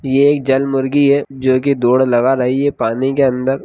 ये एक जलमुर्गी है जो कि दौड़ लगा रही है पानी के अंदर।